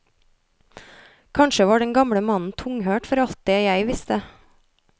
Kanskje var den gamle mannen tunghørt for alt det jeg visste.